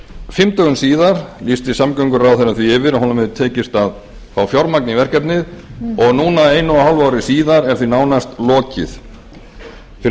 fimm dögum síðar lýsti samgönguráðherra því yfir að honum hefði tekist að fá fjármagn í verkefnið og núna einu og hálfu ári síðar er því nánast lokið fyrir